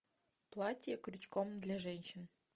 платье крючком для женщин